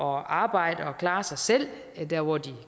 arbejde og klare sig selv der hvor de